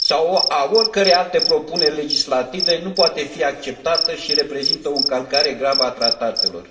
sau a oricărei alte propuneri legislative nu poate fi acceptată și reprezintă o încălcare gravă a tratatelor.